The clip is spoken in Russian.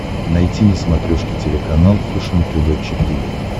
найти на смотрешке телеканал фэшен тв четыре к